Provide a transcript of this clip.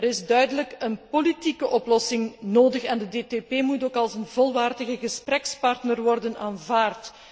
Er is duidelijk een politieke oplossing nodig en de DTP moet ook als een volwaardige gesprekspartner worden aanvaard.